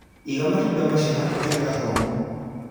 Iga matunda macio handũ hega homũ